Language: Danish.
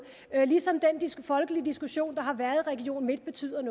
ligesom den folkelige diskussion der har været i region midtjylland